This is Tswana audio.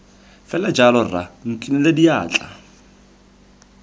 fela jalo rra nkinele diatla